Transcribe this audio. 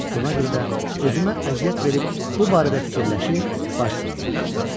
Buna görə də özümə əziyyət verib bu barədə fikirləşir, baş sındırırdım.